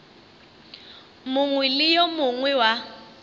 mongwe le yo mongwe wa